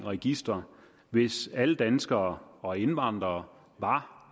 registre hvis alle danskere og indvandrere var